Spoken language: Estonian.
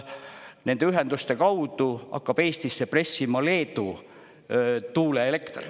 Nende ühenduste kaudu hakkab Eestisse pressima Leedu tuuleelekter.